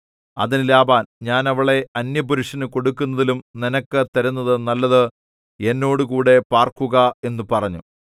അതിന് ലാബാൻ ഞാൻ അവളെ അന്യപുരുഷനു കൊടുക്കുന്നതിലും നിനക്ക് തരുന്നത് നല്ലത് എന്നോടുകൂടെ പാർക്കുക എന്നു പറഞ്ഞു